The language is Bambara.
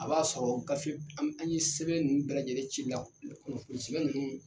A b'a sɔrɔ gafe an ye sɛbɛn nunnu bɛɛ lajɛlen ci la kunnafoni sɛbɛn nunnu